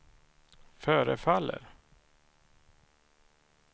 förefaller